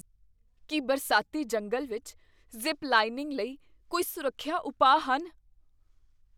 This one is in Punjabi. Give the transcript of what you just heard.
ਕੀ ਬਰਸਾਤੀ ਜੰਗਲ ਵਿੱਚ ਜ਼ਿਪ ਲਾਈਨਿੰਗ ਲਈ ਕੋਈ ਸੁਰੱਖਿਆ ਉਪਾਅ ਹਨ?